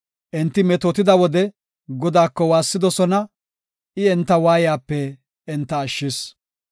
Enti metootida wode, Godaako waassidosona; I enta waayiyape enta ashshis.